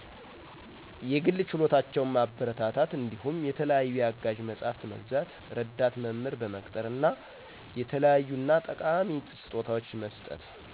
የግል ችሎታቸው ማበረታታትእንዳሁም የተለያዪ የአጋዥ መጸሐፍት መግዛት፣ ረዳት መምህር በቅጠር እና የተለያዪእና ጠቃሚ ስጦታዎች መስጠት።